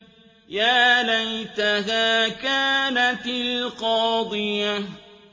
يَا لَيْتَهَا كَانَتِ الْقَاضِيَةَ